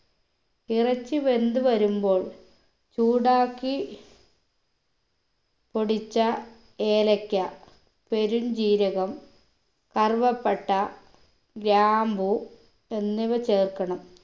ഇറച്ചി വെന്ത് വരുമ്പോൾ ചൂടാക്കി പൊടിച്ച ഏലക്ക പെരുംജീരകം കറുവപ്പട്ട ഗ്രാമ്പൂ എന്നിവ ചേർക്കണം